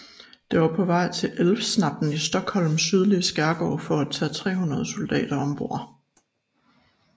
Det var på vej til Älvsnabben i Stockholms sydlige skærgård for at tage 300 soldater om bord